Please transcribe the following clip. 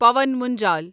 پاون منجل